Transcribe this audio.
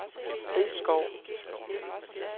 Risskov